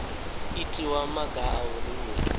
itiwa maga a uri hu